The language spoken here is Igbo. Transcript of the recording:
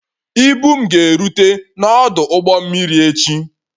Ibu m ga-erute n'ọdụ ụgbọ mmiri echi